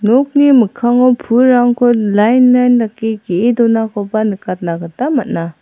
nokni mikkango pulrangko lain lain dake ge·e donakoba nikatna gita man·a.